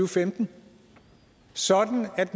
femten sådan at